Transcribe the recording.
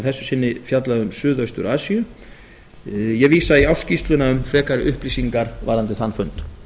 þessu sinni fjallaði um suðaustur asíu ég vísa ég í ársskýrsluna um frekari upplýsingar varðandi þann fund